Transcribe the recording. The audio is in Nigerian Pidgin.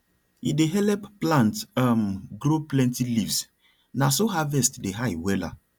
e dey help plant um grow plenty leaves na so harvest dey high wella